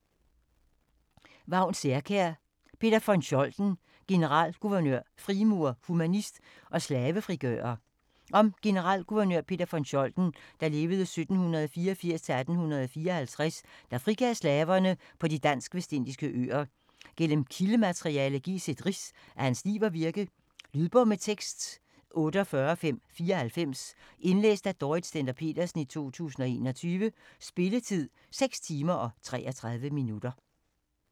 Særkjær, Vagn: Peter von Scholten: generalguvernør, frimurer, humanist og slavefrigører Om generalguvernøren Peter von Scholten (1784-1854), der frigav slaverne på de dansk-vestindiske øer. Gennem kildemateriale gives et rids af hans liv og virke. Lydbog med tekst 48594 Indlæst af Dorrit Stender-Petersen, 2021. Spilletid: 6 timer, 33 minutter.